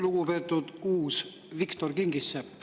Lugupeetud uus Viktor Kingissepp!